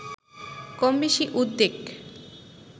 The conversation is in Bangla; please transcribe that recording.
কমবেশি উদ্বেগ